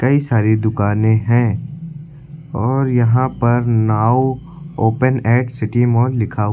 कई सारी दुकाने हैं और यहां पर now open X city mall लिखा हुआ--